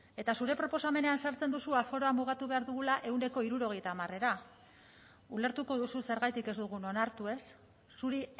eta zure proposamenean sartzen duzu aforoa mugatu behar dugula ehuneko hirurogeita hamarra ulertuko duzu zergatik ez dugun onartu ez zuri